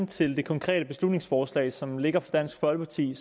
til det konkrete beslutningsforslag som ligger her fra dansk folkeparti